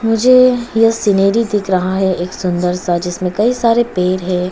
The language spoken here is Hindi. मुझे सीनरी दिख रहा है एक सुंदर सा जिसमें कई सारे पेड़ है।